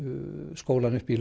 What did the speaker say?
skólann upp í